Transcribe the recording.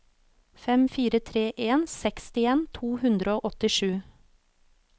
fem fire tre en sekstien to hundre og åttisju